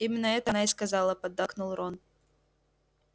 именно это она и сказала поддакнул рон